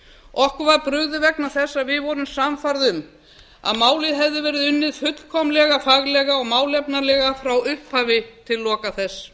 okkur var brugðið vegna þess að við vorum sannfærð um að málið hefði verið unnið fullkomlega faglega og málefnalega frá upphafi til loka þess